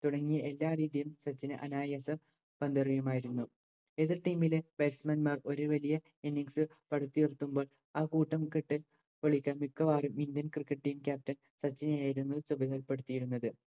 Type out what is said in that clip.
തുടങ്ങിയ എല്ലാരീതിയിലും സച്ചിന് അനായാസ പന്തെറിയുമായിരുന്നു എതിർ Team ലെ Batsman മാർ ഒരു വലിയ Innings പടുത്തുയർത്തുമ്പോൾ ആ കൂട്ടം കൊള്ളിക്കാൻ മിക്കവാറും Indian cricket team caption സച്ചിനെയായിരുന്നു പ്പെടുത്തിയിരുന്നത്